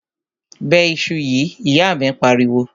Bẹ iṣu yìí! ìyá míì pariwo.